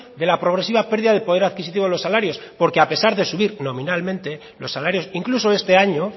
de la progresiva pérdida de poder adquisito de los salarios porque a pesar de subir nominalmente los salarios incluso este año